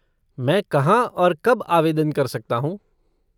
मैं कहाँ और कब आवेदन कर सकता हूँ?